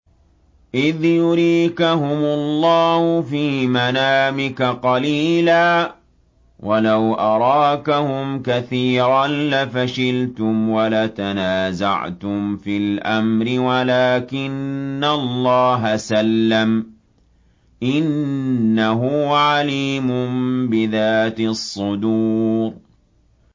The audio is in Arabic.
إِذْ يُرِيكَهُمُ اللَّهُ فِي مَنَامِكَ قَلِيلًا ۖ وَلَوْ أَرَاكَهُمْ كَثِيرًا لَّفَشِلْتُمْ وَلَتَنَازَعْتُمْ فِي الْأَمْرِ وَلَٰكِنَّ اللَّهَ سَلَّمَ ۗ إِنَّهُ عَلِيمٌ بِذَاتِ الصُّدُورِ